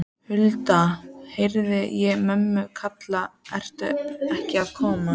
Hulda, heyri ég mömmu kalla, ertu ekki að koma?